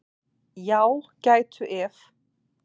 Já, gætu ef.